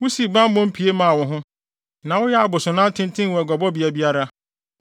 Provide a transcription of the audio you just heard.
wusii bammɔ pie maa wo ho, na woyɛɛ abosonnan tenten wɔ aguabɔbea biara.